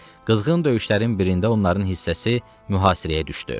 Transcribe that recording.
Qızğın döyüşlərin birində onların hissəsi mühasirəyə düşdü.